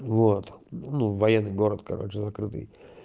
вот ну военный город короче закрытый